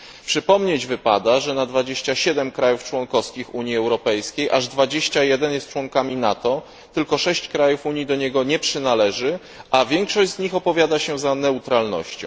Przypomnieć wypada, że na 27 krajów członkowskich Unii Europejskiej aż 21 jest członkami NATO, tylko 6 krajów Unii do niego nie przynależy, a większość z nich opowiada się za neutralnością.